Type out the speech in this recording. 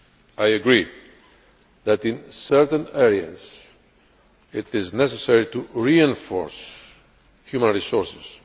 I agree that in certain areas it is necessary to reinforce human resources.